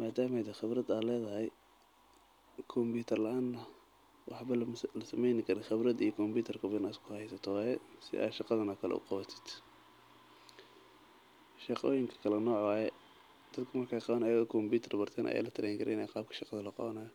madama xirfad ledahay wxaa fican inaad isku haysato labadaba.